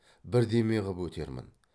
бірдеме ғып өтермін